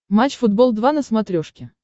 матч футбол два на смотрешке